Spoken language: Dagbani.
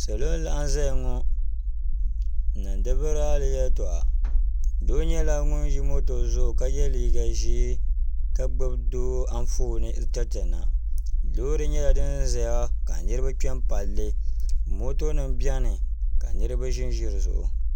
salo laɣim zaya ŋɔ n niŋ di rali yɛ tuɣ' do nyɛla ŋɔ ʒɛ mɔto zuɣ' ka yɛ liga ʒiɛ ka gbabi do anƒɔni n tɛritɛna lori nyɛla din za ka niriba kpem pali mɔto bɛni ka niriba ʒɛn ʒɛ di zuɣ'